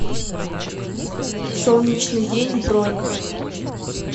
солнечный день бронь